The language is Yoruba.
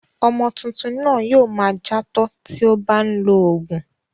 Ọmọ tuntun náà yóò ma játọ́ ti ó bá lọ òògùn.